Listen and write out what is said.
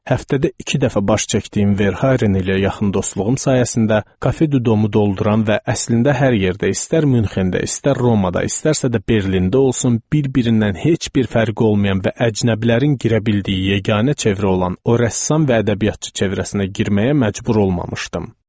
Həftədə iki dəfə baş çəkdiyim Verhaeren ilə yaxın dostluğum sayəsində, kafedə domu dolduran və əslində hər yerdə, istər Münxendə, istər Romada, istərsə də Berlində olsun, bir-birindən heç bir fərqi olmayan və əcnəbilərin girə bildiyi yeganə çevrə olan o rəssam və ədəbiyyatçı çevrəsinə girməyə məcbur olmamışdım.